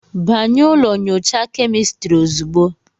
Banye ụlọ nyocha kemịstri ozugbo